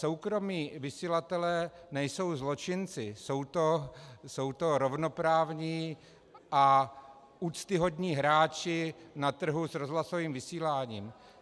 Soukromí vysílatelé nejsou zločinci, jsou to rovnoprávní a úctyhodní hráči na trhu s rozhlasovým vysíláním.